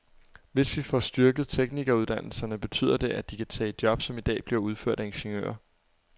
Hvis vi får styrket teknikeruddannelserne, betyder det, at de kan tage job, som i dag bliver udført af ingeniører.